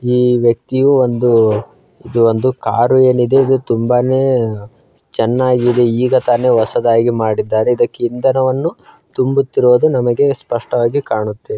ಈ ವ್ಯಕ್ತಿಯು ಒಂದು ಇದು ಒಂದು ಕಾರು ಏನಿದೆ ಅದು ತುಂಬಾನೇ ಚೆನ್ನಾಗಿದೆ ಈಗ ತಾನೇ ಹೊಸದಾಗಿ ಮಾಡಿದ್ದಾರೆ ಇದಕ್ಕೆ ಇಂದನವನ್ನು ತುಂಬುತ್ತಿರುವುದು ನಮಗೆ ಸ್ಪಷ್ಟವಾಗಿ ಕಾಣುತ್ತಿದೆ.